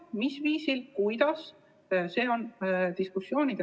Millisel viisil seda teha, on arutelu koht.